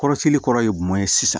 Kɔrɔsigili kɔrɔ ye mun ye sisan